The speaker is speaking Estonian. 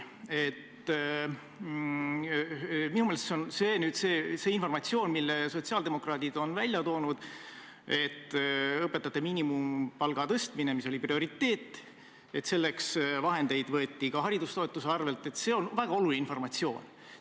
Minu meelest on see informatsioon, mille sotsiaaldemokraadid on välja toonud, et õpetajate miinimumpalga tõstmiseks – mis oli prioriteet – võeti vahendeid ka haridustoetuste arvelt, väga oluline informatsioon.